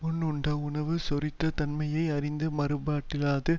முன் உண்ட உணவு செரித்த தன்மையை அறிந்து மாறுபாடில்லாத